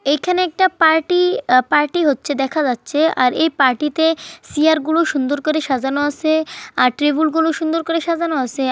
এখানে একটা party uh party হচ্ছে দেখা যাচ্ছে আর এই পার্টি তে চিয়ার গুলো সুন্দর করে সাজানো আসে আর টেবুল গুলো সুন্দর করে সাজানো আসে--